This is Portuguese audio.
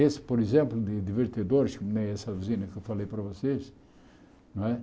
Esse, por exemplo, de divertidores, como essa vizinha que eu falei para vocês. Não é